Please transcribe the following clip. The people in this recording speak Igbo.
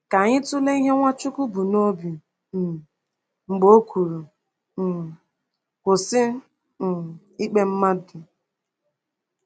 Ka anyị tụlee ihe Nwachukwu bu n’obi um mgbe o kwuru: um “Kwụsị um ikpe mmadụ.”